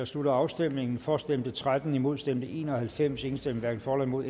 slutter afstemningen for stemte tretten imod stemte en og halvfems hverken for eller imod